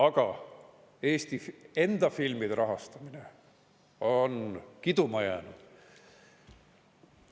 Aga Eesti enda filmide rahastamine on kiduma jäänud.